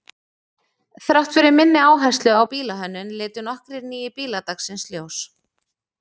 Þrátt fyrir minni áherslu á bílahönnun litu nokkrir nýir bílar dagsins ljós.